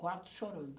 Quatro chorando.